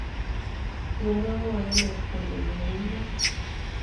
Kimwaa mwoindet kole yeeimuuch.